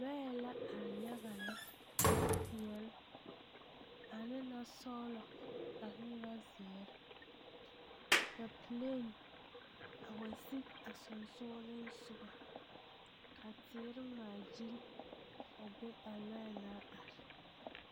Lɔɛ la are yaɡa lɛ lɔpeɛle ane lɔsɔɔlɔ ane lɔziiri ka peleen a wa siɡi a sonsooleŋsoɡa ka teere ŋmaaɡyili a be a lɔɛ na are.